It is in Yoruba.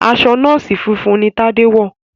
aṣọ nọọsi funfun ní Tade wọ.